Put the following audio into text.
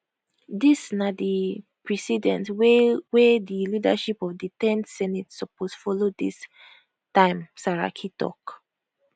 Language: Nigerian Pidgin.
dis na di precedent wey wey di leadership of di 10th senate suppose follow dis timesaraki tok